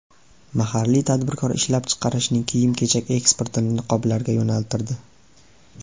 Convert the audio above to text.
Mahalliy tadbirkor ishlab chiqarishining kiyim-kechak eksportini niqoblarga yo‘naltirdi.